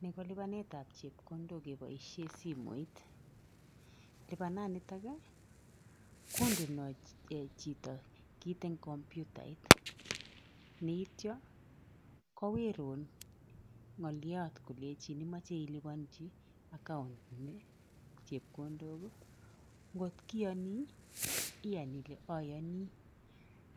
Ni kolipanet ab chekondok keboishen simoit, lipanan nito kondenoi chito kit en computait yeityo kowirun ngoliot kolenjin imoche iliponji account inii chekondok nkot iyonii iyan ile oyonii